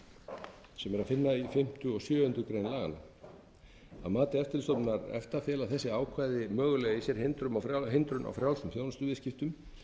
að finna í sjöundu grein laganna að mati eftirlitsstofnunar efta fela þessi ákvæði mögulega í sér hindrun á frjálsum þjónustuviðskiptum